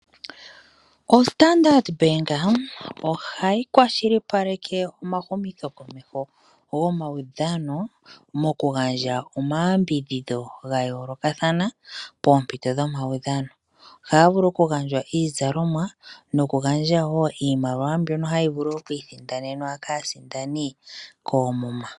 OStandard Bank ohayi kwashilipaleke omumithokomeko gamaudhano mokugandja omayambidhidho ga yoolokathana poompito dhomaudhano. Ohaya vulu okugandja iizalomwa nokugandja wo iimaliwa, mbyono hayi vulu oku isindanenwa kaasindani koomuma.